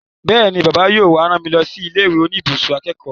Bẹ́ẹ̀ni, Bàbá yóò wá rán mi lọ sí ilé ìwé oníbùsùn akẹ́kọ̀ọ́